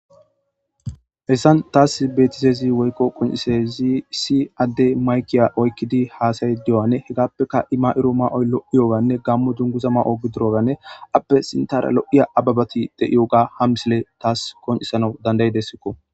Hessan taas betizezi woykko qoncisezi si adde maykiya oykkidi haasayi diy'ane hegappeka ima'iro ma'oy lo'iyoganne gammu dunguza ma'o gidroganne appe sintara lo'iya ababati de'iyo ga ham sile taas konisano dandayi dessikko.